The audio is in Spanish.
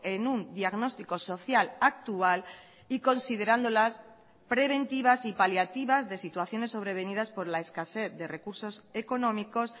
en un diagnóstico social actual y considerándolas preventivas y paliativas de situaciones sobrevenidas por la escasez de recursos económicos